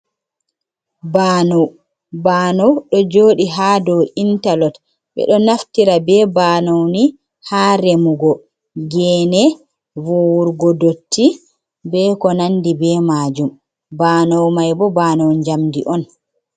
Banau, banau ɗo joɗi ha dow intalok, ɓe ɗo naftira be banau ni ha remugo gene, vowurgo dotti, be ko nandi be majum, banau mai bo banaw njamdi on.